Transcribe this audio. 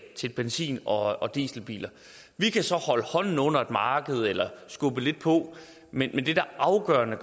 til benzin og og dieselbiler vi kan så holde hånden under et marked eller skubbe lidt på men det der er afgørende